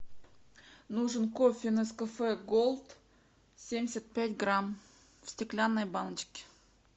нужен кофе нескафе год семьдесят пять грамм в стеклянной баночке